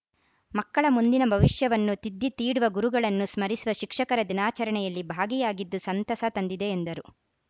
ಮಕ್ಕಳ ಮುಂದಿನ ಭವಿಷ್ಯವನ್ನು ತಿದ್ದಿ ತೀಡುವ ಗುರುಗಳನ್ನು ಸ್ಮರಿಸುವ ಶಿಕ್ಷಕರ ದಿನಾಚರಣೆಯಲ್ಲಿ ಭಾಗಿಯಾಗಿದ್ದು ಸಂತಸ ತಂದಿದೆ ಎಂದರು